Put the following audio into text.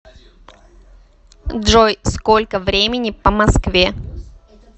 джой сколько времени по москве